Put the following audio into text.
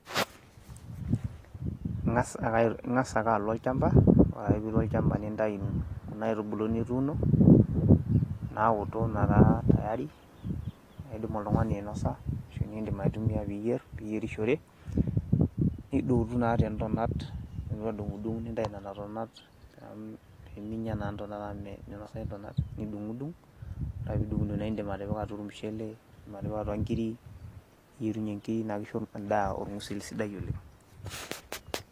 Ingas ake alo olchamba, ore ake pee ilo olchamba nintayu kuna aitubulu nituuno naoto metaa tayari naidim oltung'ani ainosa ashu niindim aitumia pee iyierishore, nidotu naa tentonat nilotu adung'dung' nintayu nena tonat pee minya naa ntonat amu minosayu ntonat. Nidung'dung' ore ake pee idung'dung' naake indim atipika atua ormushele, indim atipika atua inkirik niyerunye inkirik naake isho endaa orng'usil sidai oleng'.